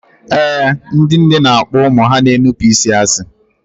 Ee, ndị nne na-akpọ ụmụ ha na-enupụ isi asị